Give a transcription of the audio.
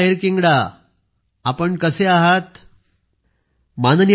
पोन मरियप्पनः माननीय प्रधानमंत्रीजी वणक्कम नमस्कार